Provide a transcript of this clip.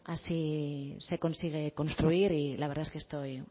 así se consigue construir y la verdad es que estoy